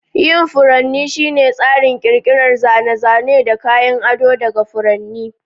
Yin furanni shine tsarin ƙirƙirar zane-zane da kayan ado daga furanni.